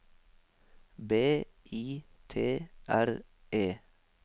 B I T R E